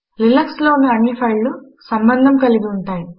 Linuxలోని అన్ని ఫైళ్ళు సంబంధము కలిగి యుంటాయి